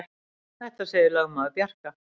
Þetta segir lögmaður Bjarka.